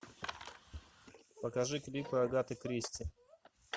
покажи клипы агаты кристи